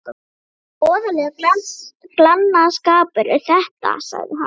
Voðalegur glannaskapur er þetta, sagði hann.